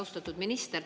Austatud minister!